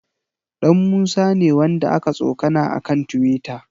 Ɗanmusa ne wanda aka tsokana a kan tiwita.